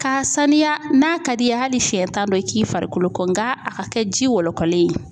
K'a sanuya n'a ka d'i ye hali siɲɛ tan don, i k'i farikolo ko, nka a ka kɛ ji wɔlɔkɔlen ye.